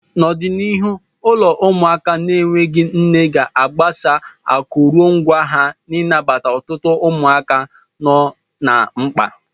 N'ọdịniihu, ụlọ ụmụaka na-enweghị nne ga-agbasa akụrụngwa ha ị nabata ọtụtụ ụmụaka nọ na mkpa.